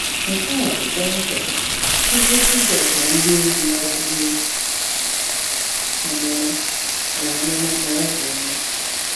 Nke a bụ kpọmkwem ihe Jizọs na ndịozi ya buru amụma na amụma na ọ ga-eme.